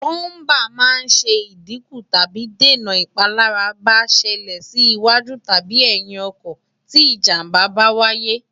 búmbà máa ń ṣẹ ìdíkù tàbí dènà ìpalára bá ṣẹlẹ̀ sí iwájú tàbi ẹ̀yìn ọkọ̀ tí ìjàmbá bá wáyé